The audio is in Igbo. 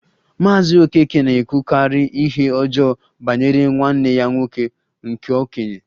Maazị Okeke na-ekwukarị ihe ọjọọ banyere nwanne ya nwoke nke okenye